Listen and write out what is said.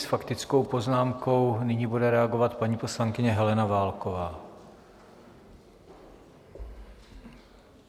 S faktickou poznámkou nyní bude reagovat paní poslankyně Helena Válková.